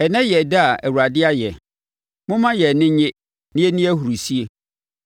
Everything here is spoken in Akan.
Ɛnnɛ yɛ ɛda a Awurade ayɛ. Momma yɛn ani nnye na yɛnni ahurisie.